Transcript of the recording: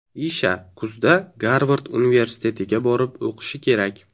Isha kuzda Garvard universitetiga borib o‘qishi kerak.